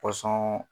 pɔsɔn